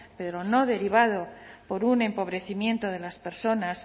pero no derivado por un empobrecimiento de las personas